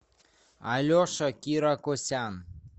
алеша киракосян